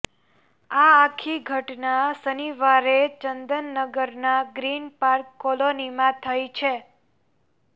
આ આખી ઘટના શનિવારે ચંદનનગર ના ગ્રીનપાર્ક કોલોનીમાં થઇ છે